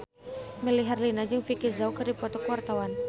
Melly Herlina jeung Vicki Zao keur dipoto ku wartawan